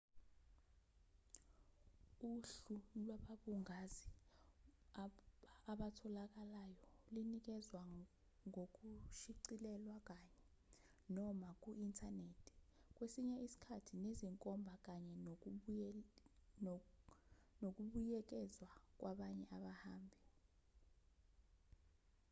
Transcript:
uhlu lwababungazi abatholakalayolinikezwa ngokushicilelwa kanye/noma ku-inthanethi kwesinye isikhathi nezinkomba kanye nokubuyekezwa kwabanye abahambi